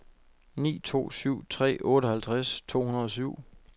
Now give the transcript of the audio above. ni to syv tre otteoghalvtreds to hundrede og syv